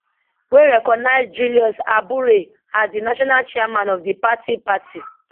wey recognise julius abure as di national chairman of di party party